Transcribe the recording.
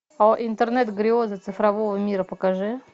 о интернет грезы цифрового мира покажи